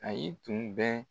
A y'i kun dɛn